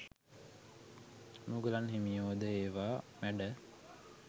මුගලන් හිමියෝ ද ඒවා මැඩ